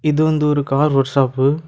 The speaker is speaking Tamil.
இது வந்து ஒரு கார் ஒர்க் ஷாப்பு .